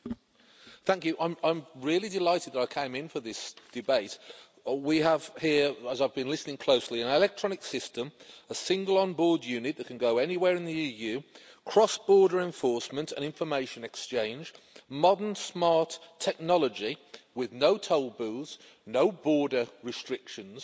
Madam President, I'm really delighted I came in for this debate. We have here as I've been listening closely an electronic system, a single on-board unit that can go anywhere in the EU, cross border enforcement and information exchange, modern smart technology with no toll booths, no border restrictions,